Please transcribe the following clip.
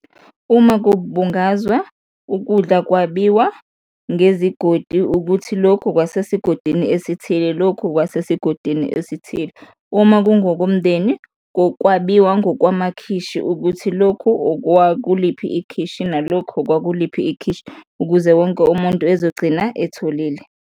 Uma kubungazwa, ukudla kwabiwa ngezigodi, ukuthi lokhu kwase esigodini esithile, lokhu kwase sigodini esithile. Uma kungokomndeni, kwabiwa ngokwamakhishi ukuthi lokhu okwakuliphi ikhishi nalokhu okwakuliphi ikhishi, ukuze wonke umuntu ezogcina etholile.